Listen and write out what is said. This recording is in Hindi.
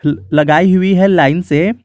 लगाई हुई है लाइन से।